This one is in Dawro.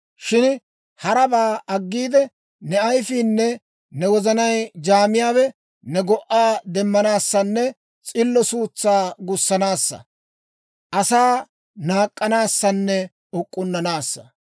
Shin harabaa aggiide, ne ayifiinne ne wozanay jaamiyaawe ne go"aa demmanaassanne s'illo suutsaa gussanaassa, asaa naak'k'anaassanne uk'k'unnanaassa.